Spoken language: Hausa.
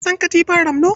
Ka san katifar ramno?